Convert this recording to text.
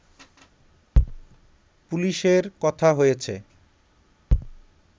পুলিশের কথা হয়েছে